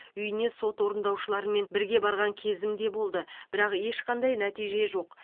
үйіне сот орындаушыларымен бірге барған кезім де болды бірақ ешқандай нәтиже жоқ